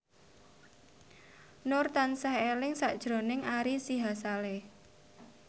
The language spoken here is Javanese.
Nur tansah eling sakjroning Ari Sihasale